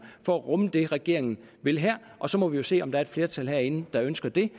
for at rumme det regeringen vil her og så må vi jo se om der er et flertal herinde der ønsker det